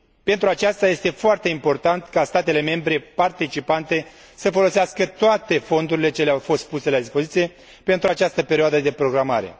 Pentru aceasta, este foarte important ca statele membre participante să folosească toate fondurile care le au fost puse la dispoziție pentru această perioadă de programare.